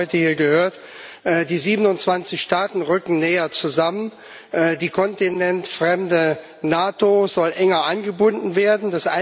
Wir haben heute hier gehört, die 27 Staaten rücken näher zusammen, die kontinentfremde NATO soll enger eingebunden werden.